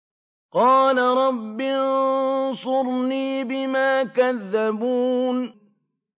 قَالَ رَبِّ انصُرْنِي بِمَا كَذَّبُونِ